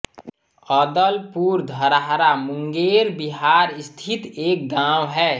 अदलपुर धरहरा मुंगेर बिहार स्थित एक गाँव है